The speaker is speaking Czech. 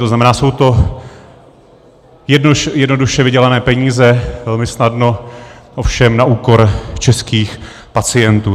To znamená, jsou to jednoduše vydělané peníze, velmi snadno, ovšem na úkor českých pacientů.